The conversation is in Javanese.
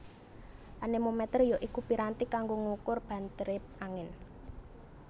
Anémométér ya iku piranti kanggo ngukur bantèré angin